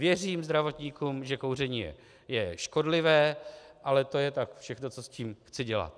Věřím zdravotníkům, že kouření je škodlivé, ale to je tak všechno, co s tím chci dělat.